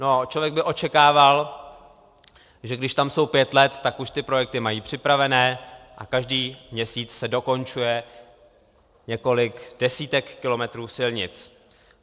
No, člověk by očekával, že když tam jsou pět let, tak už ty projekty mají připravené a každý měsíc se dokončuje několik desítek kilometrů silnic.